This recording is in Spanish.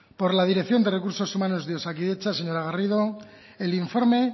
por la dirección de recursos humanos de osakidetza señora garrido el informe